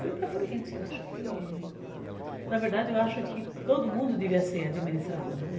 Fui para frente, eu acho que... Na verdade, eu acho que todo mundo devia ser administrador, né?